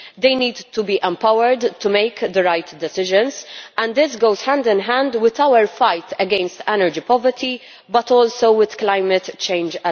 They need to be empowered to make the right decisions, and this goes hand in hand with our fight against energy poverty and also with climate change.